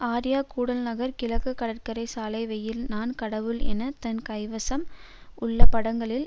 ஆர்யா கூடல்நகர் கிழக்கு கடற்கரை சாலை வெயில் நான் கடவுள் என தன் கைவசம் உள்ள படங்களின்